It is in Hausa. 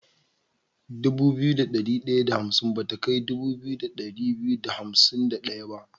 dubu biyu da ɗari da hansim bata kai dubu biyu da ɗari biyu da hansim da ɗaya ba.